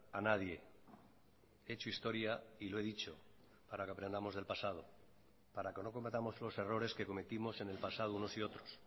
a nadie he hecho historia y lo he dicho para que aprendamos del pasado para que no cometamos los errores que cometimos en el pasado unos y otros